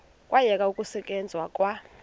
kwayekwa ukusetyenzwa kwa